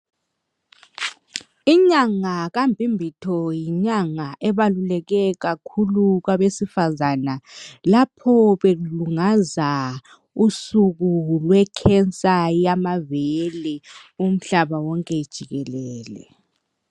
Inyanga kaMbimbitho yinyanga ebaluleke kakhulu kwabesifazana lapho belungaza usuku lwekhensa yamabele umhlaba wonke jikelele.